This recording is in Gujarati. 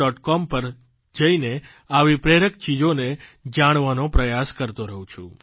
com પર જઇને આવી પ્રેરક ચીજોને જાણવાનો પ્રયાસ કરતો રહું છું